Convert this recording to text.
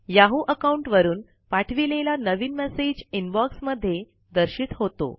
Yahoo account वरून पाठविलेला नवीन मैसेज इनबॉक्स मध्ये दर्शित होतो